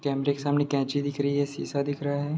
कैमरे के सामने कैंची दिख रही है शीशा दिख रहा है।